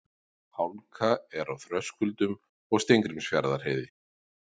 Hálka er á Þröskuldum og Steingrímsfjarðarheiði